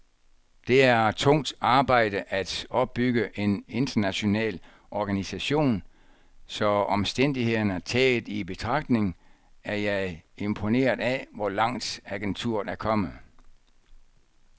Det er tungt arbejde at opbygge en international organisation, så omstændighederne taget i betragtning er jeg imponeret af, hvor langt agenturet er kommet.